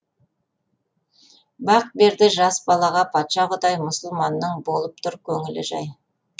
бақ берді жас балаға патша құдай мұсылманның болып тұр көңілі жай